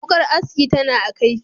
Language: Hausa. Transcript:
Wuƙar aski tana a kaifi,